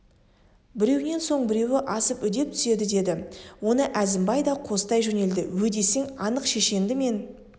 біреуінен соң біреуі асып үдеп түседі деді оны әзімбай да қостай жөнелді өйдесең анық шешенді мен